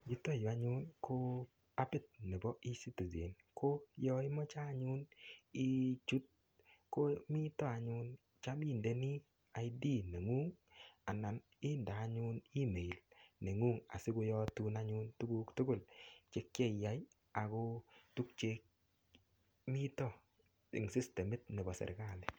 Yuto yu anyun ko apit nebo ecitizen, ko yo imoche anyun ichut ko mito anyun cham indeni ID nengung anan inde anyun email nengung asikiyotun anyun tuguk tugul che kieyai ago tuk chemito eng sistemit nebo sergali.